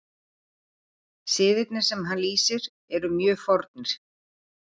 Siðirnir sem hann lýsir eru mjög fornir.